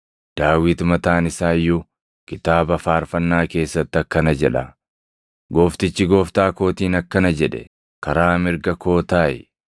Daawit mataan isaa iyyuu kitaaba faarfannaa keessatti akkana jedha; “ ‘Gooftichi Gooftaa kootiin akkana jedhe; “Karaa mirga koo taaʼi;